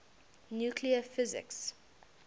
nuclear physics